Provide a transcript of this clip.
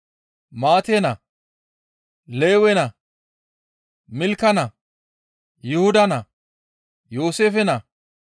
Maate naa, Lewe naa, Milka naa, Yuhuda naa, Yooseefe naa,